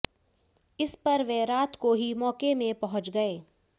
इस पर वे रात को ही मौके में पहुंच गए